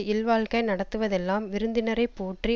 இல்வாழ்க்கை நடத்துவதெல்லாம் விருந்தினரை போற்றி